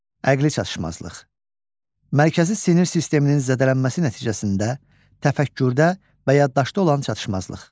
Əqli çatışmazlıq: Mərkəzi sinir sisteminin zədələnməsi nəticəsində təfəkkürdə və yaddaşda olan çatışmazlıq.